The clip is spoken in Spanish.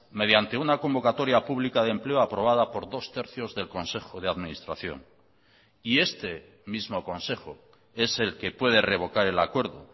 mediante una convocatoria pública de empleo aprobada por dos tercios del consejo de administración y este mismo consejo es el que puede revocar el acuerdo